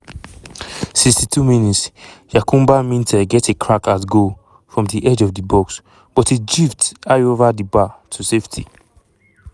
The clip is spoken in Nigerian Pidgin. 62 mins - yankuba minteh get a crack at goal from di edge of di box but e drift high ova di bar to safety.